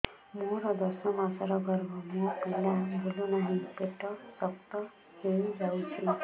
ମୋର ଦଶ ମାସର ଗର୍ଭ ମୋ ପିଲା ବୁଲୁ ନାହିଁ ପେଟ ଶକ୍ତ ହେଇଯାଉଛି